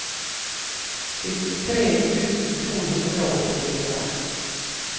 syttitre tusen to hundre og åttifire